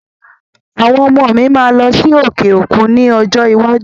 Àwọn ọmọ mi máa lọ sí òkè òkú ní ọjọ́ iwájú